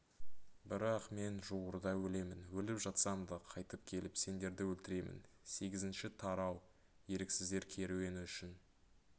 бірақ мен жуырда өлемін өліп жатсам да қайтып келіп сендерді өлтіремін сегізінші тарау еріксіздер керуені үшін